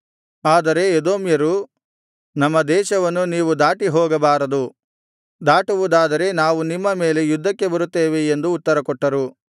ಆದರೆ ಎದೋಮ್ಯರು ನಮ್ಮ ದೇಶವನ್ನು ನೀವು ದಾಟಿ ಹೋಗಬಾರದು ದಾಟುವುದಾದರೆ ನಾವು ನಿಮ್ಮ ಮೇಲೆ ಯುದ್ಧಕ್ಕೆ ಬರುತ್ತೇವೆ ಎಂದು ಉತ್ತರಕೊಟ್ಟರು